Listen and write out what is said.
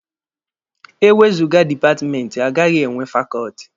E wezụga dipatmenti, agaghị enwe fakọọtị.